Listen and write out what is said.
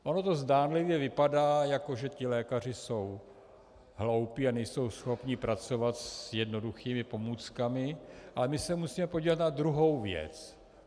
Ono to zdánlivě vypadá, jako že ti lékaři jsou hloupí a nejsou schopni pracovat s jednoduchými pomůckami, ale my se musíme podívat na druhou věc.